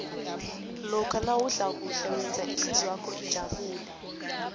lokha nawudla kuhle wenza ihlizwakho ijabule